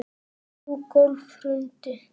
Þrjú gólf hrundu.